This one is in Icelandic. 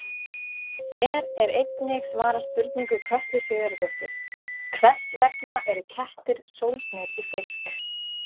Hér er einnig svarað spurningu Kötlu Sigurðardóttur: Hvers vegna eru kettir sólgnir í fisk?